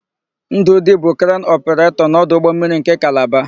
Ndụdị bụ krenu ọpụretọ n'ọdụ ụgbọmmiri nke Kalaba.